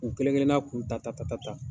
U kelen kelenna k'u ta ta ta.